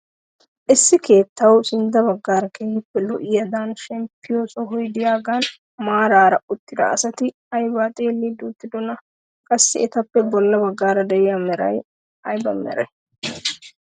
Issi keettawu sintta baggaara keehippe lo"ida shempiyoo sohoy de'iyaagan maarara uttida asati aybaa xeellidi uttidoonaa? qassi etappe bolla baggaara de'iyaa meray ayba meree?